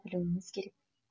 білуіміз керек